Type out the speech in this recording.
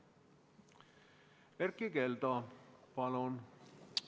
Erkki Keldo, palun!